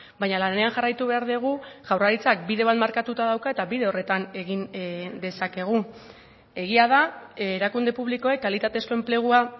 baina lanean jarraitu behar dugu jaurlaritzak bide bat markatuta dauka eta bide horretan egin dezakegu egia da erakunde publikoek kalitatezko enplegua